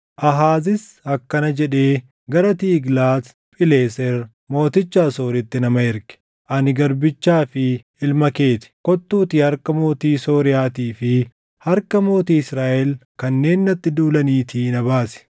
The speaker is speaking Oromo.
Aahaazis akkana jedhee gara Tiiglaat Phileeser mooticha Asooritti nama erge; “Ani garbichaa fi ilma kee ti. Kottuutii harka mootii Sooriyaatii fi harka mootii Israaʼel kanneen natti duulaniitii na baasi.”